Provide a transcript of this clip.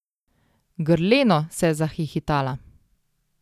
Grleno se je zahihitala.